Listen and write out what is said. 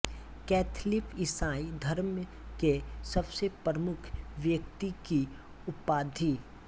Catholic ईसाई धर्म के सबसे प्रमुख व्यक्ति की उपाधि